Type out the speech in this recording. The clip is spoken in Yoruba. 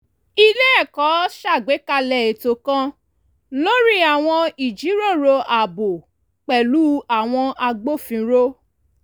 ilé ẹ̀kọ́ ṣàgbékalẹ̀ ètò kan lórí àwọn ìjíròrò ààbò pẹ̀lú àwọn agbófinró